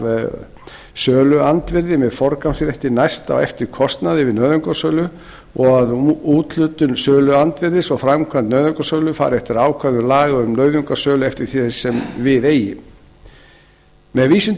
af söluandvirði með forgangsrétti næst á eftir kostnaði við nauðungarsölu og að um úthlutun söluandvirðis og framkvæmd nauðungarsölu fari eftir ákvæðum laga um nauðungarsölu eftir því sem við eigi með vísun til laga